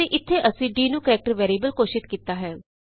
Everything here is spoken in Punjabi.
ਅਤੇ ਇਥੇ ਅਸੀਂ ਦ ਨੂੰ ਕਰੈਕਟਰ ਵੈਰੀਐਬਲ ਘੋਸ਼ਿਤ ਕੀਤਾ ਹੈ